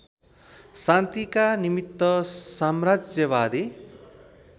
शान्तिका निमित्त साम्राज्यवादी